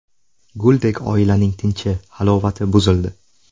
Guldek oilaning tinchi, halovati buzildi.